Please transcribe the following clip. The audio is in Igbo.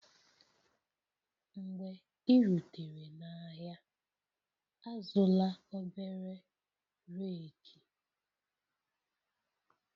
Mgbe ị rutere n'ahịa, azụla obere rake